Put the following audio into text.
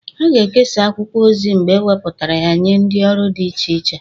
A ga-ekesa akwụkwọ ozi mgbe ewepụtara ya nye ndị ọrụ dị iche iche